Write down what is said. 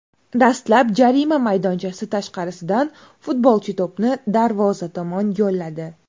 Dastlab jarima maydonchasi tashqarisidan futbolchi to‘pni darvoza tomon yo‘lladi.